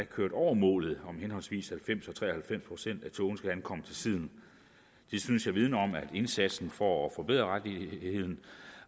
kørt over målet om at henholdsvis halvfems procent og tre og halvfems procent af togene skal komme til tiden det synes jeg vidner om at indsatsen for at forbedre